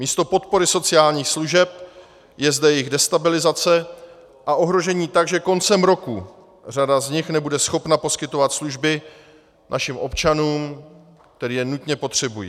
Místo podpory sociálních služeb je zde jejich destabilizace a ohrožení tak, že koncem roku řada z nich nebude schopna poskytovat služby našim občanům, kteří je nutně potřebují.